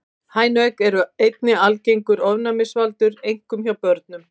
Hænuegg eru einnig algengur ofnæmisvaldur, einkum hjá börnum.